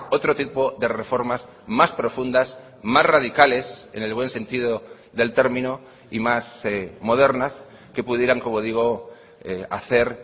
otro tipo de reformas más profundas más radicales en el buen sentido del término y más modernas que pudieran como digo hacer